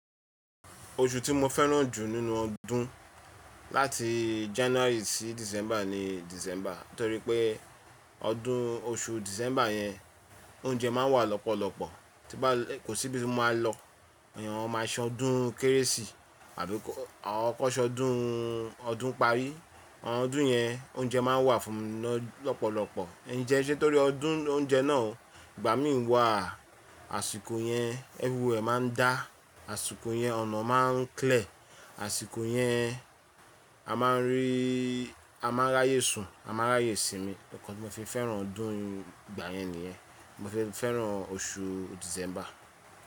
Oṣù tí mo fẹ́ràn jù nínú ọdún láti January sí December ni December. Nítorí pé ọdún oṣù December yẹn, oúnjẹ máa wà lọ́pọ̀lọpọ̀, tí bá kò síbi tí mo máa lọ, èyí wọn máa san ọdún kérésì àbí awon kan sọdún ọdúnparí. Ọdún yẹn oúnjẹ máa wà fún mi lọ́pọ̀lọpọ̀. Ǹjẹ́ ṣé torí ọdún oúnjẹ náà, ìgbà mí wà àsìkò yẹn ẹverywhere máa ń dá, àsìkò yẹn ọ̀nà máa ń clear, àsìkò yẹn a máa ń rí, a máa ráyé sun, a máa ráyé sìnmí. Ọ̀kan tí mo fi fẹ́ràn ọdún ìgbà yẹn nìyẹn. Mo fi fẹ́ràn oṣù December.